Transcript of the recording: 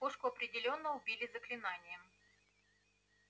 кошку определённо убили заклинанием